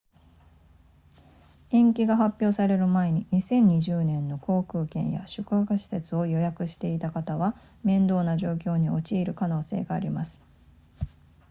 延期が発表される前に2020年の航空券や宿泊施設を予約していた方は面倒な状況に陥る可能性があります